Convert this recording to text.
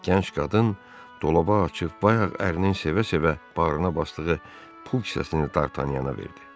Gənc qadın dolabı açıb bayaq ərinin sevə-sevə barına basdığı pul kisəsini D'Artagnanana verdi.